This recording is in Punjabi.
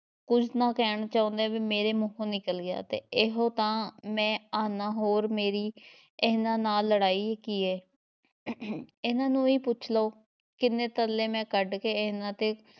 ਕੁਝ ਨਾਂ ਕਹਿਣਾ ਚਾਹੁੰਦਿਆਂ ਵੀ ਮੇਰੇ ਮੂੰਹੋਂ ਨਿਕਲ ਗਿਆ ਤੇ ਏਹੋ ਤਾਂ ਮੈਂ ਆਹਨਾਂ, ਹੋਰ ਮੇਰੀ ਇਹਨਾਂ ਨਾਲ਼ ਲੜ੍ਹਾਈ ਕੀ ਏ ਇਹਨਾਂ ਨੂੰ ਹੀ ਪੁੱਛ ਲਓ, ਕਿੰਨੇ ਤਰਲੇ ਮੈਂ ਕੱਢ ਕੇ ਇਹਨਾਂ ਦੇ